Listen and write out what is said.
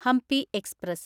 Hampi express